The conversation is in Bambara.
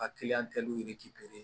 A kiliyan tɛ ye